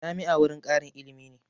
Jami'a wurin ƙarin ilimi ne